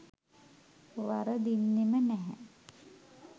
වරදින්නෙම නැහැ.